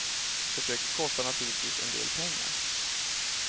Försöket kostar naturligtvis en del pengar.